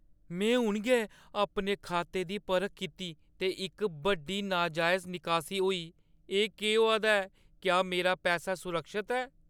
में हून गै अपने खाते दी परख कीती ते इक बड्डी, नजायज निकासी होई। केह् होआ दा ऐ? क्या मेरा पैसा सुरक्खत ऐ?